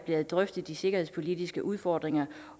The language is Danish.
har drøftet de sikkerhedspolitiske udfordringer